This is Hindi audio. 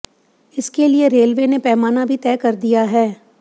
इसके लिए रेलवे ने पैमाना भी तय कर दिया है